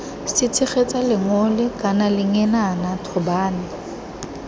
setshegetsa lengole kana lengenana thobane